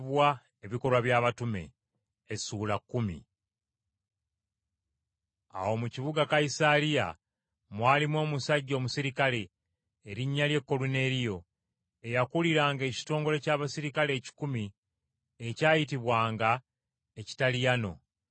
Awo mu kibuga Kayisaliya mwalimu omusajja omuserikale, erinnya lye Koluneeriyo, eyakuliranga ekitongole ky’abaserikale ekikumi ekyayitibwanga Ekitaliano.